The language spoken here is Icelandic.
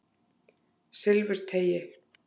Silfurteigi